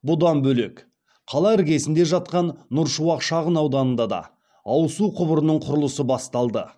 бұдан бөлек қала іргесінде жатқан нұр шуақ шағын ауданында да ауызсу құбырының құрылысы басталды